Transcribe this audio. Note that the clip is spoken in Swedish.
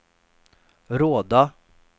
Råda